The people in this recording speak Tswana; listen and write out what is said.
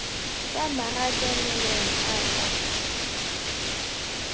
kwa marakanelong a a kwa